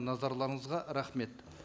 назарларыңызға рахмет